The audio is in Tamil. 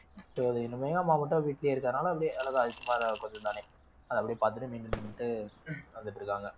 so அது இனிமே எங்க அம்மா மட்டும் வீட்லயே இருக்கறதுனால அப்படியே அழகா அது சும்மா அது கொஞ்சம் தானே அது அப்படியே பாத்துட்டு maintain பண்ணிட்டு வந்துட்டிருக்காங்க